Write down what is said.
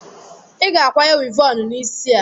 Ị ga-akwanye wivọọnụ n'isi a!